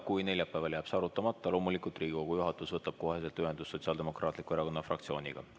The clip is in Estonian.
Kui neljapäeval jääb see arutamata, siis loomulikult Riigikogu juhatus võtab kohe ühendust Sotsiaaldemokraatliku Erakonna fraktsiooniga.